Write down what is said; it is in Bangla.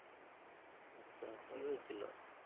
আচ্ছা কি হয়েছিলো?